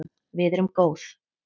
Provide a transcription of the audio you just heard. Við erum góð